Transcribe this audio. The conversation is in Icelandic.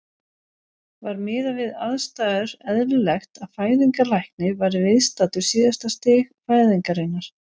Var miðað við aðstæður eðlilegt að fæðingarlæknir væri viðstaddur síðasta stig fæðingarinnar?